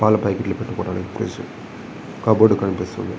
పాల పాకెట్లు పెట్టుకోటానికి ఫ్రీడ్జ్ కప్ బోర్డు కనిపిస్తుంది.